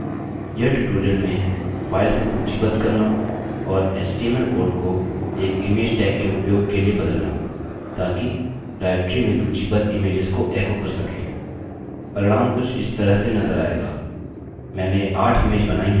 यह ट्यूटोरियल में फाइल्स को सूचीबद्ध करना और html कोड को एक इमेज टैग के उपयोग के लिए बदलना ताकि डाइरेक्टरी में सूचीबद्ध इमेज्स को एको कर सकें